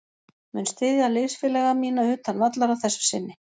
Mun styðja liðsfélaga mína utan vallar að þessu sinni.